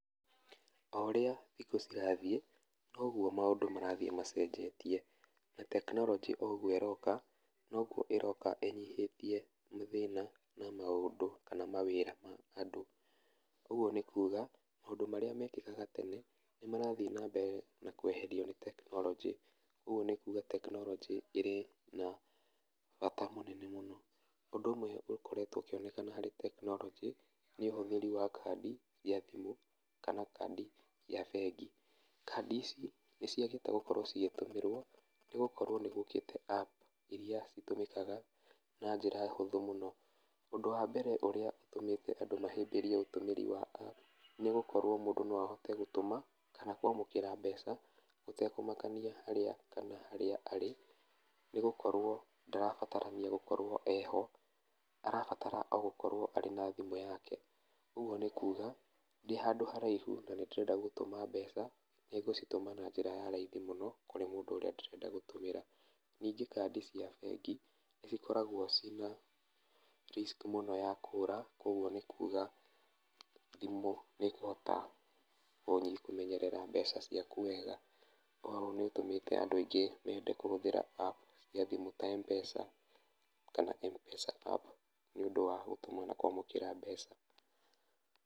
O ũrĩa thikũ cirathiĩ noguo maũndũ marathiĩ macenjetie, na tekinoronjĩ oũguo ĩroka noguo ĩroka ĩnyihĩtie mathĩna na maũndũ kana mawĩra harĩ andũ. Ũguo nĩ kũga maũndũ marĩa mekĩkaga tene nĩmarathiĩ na mbere na kweherio nĩ tekinoronjĩ koguo nĩ kuga tekinoronjĩ ĩrĩ na bata mũnene mũno. Ũndũ ũmwe ũkoretwo ũkĩonekana harĩ tekinoronjĩ nĩ ũhũthĩri wa kandi cia thimũ kana kandi cia bengi, Kandi ici nĩciagĩte gũkorwo ĩgĩtũmĩrwo nĩgũkorwo nĩgũkĩte app iria citũmĩkaga na njĩra hũthũ mũno. Ũndũ wa mbere ũrĩa ũtũmĩte andũ mahĩmbĩrie ũtũmĩri wa app nĩgũkorwo mũndũ no ahote gũtũma kana kwamũkĩra mbeca gũtekĩmakania harĩa arĩ nĩgũkorwo ndarabatarania gũkorwo eho arabatara o gũkorwo arĩ na thimũ yake, ũguo nĩ kũga ndĩ handũ haraihu na nĩndĩrenda gũtũma mbeca nĩngũcitũma na njĩra ya raithi mũno kũrĩ mũndũ ũrĩa ndĩrenda gũtũmĩra. Ningĩ kandi cia bengi nĩcikoragwo ciĩna risk mũno ya kũra koguo nĩ kũga thimũ nĩkũmenyerera mbeca ciaku wega. Oho nĩtũmĩte andũ mende kũhũthĩra app cia thimũ ta M-pesa kana M-pesa app nĩ ũndũ wa gũtũma na kwamũkĩra mbeca.